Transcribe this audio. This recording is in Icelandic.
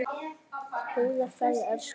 Góða ferð, elsku amma.